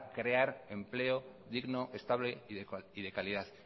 crear empleo digno estable y de calidad